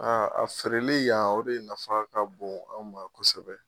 a feereli yan o de nafa ka bon anw ma kosɛbɛ